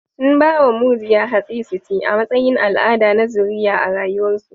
Sun ba wa mujiya hatsi su ci, a matsayin al'ada na zuriya a rayuwarsu